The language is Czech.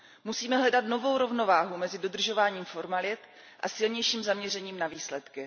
Musíme hledat novou rovnováhu mezi dodržováním formalit a silnějším zaměřením na výsledky.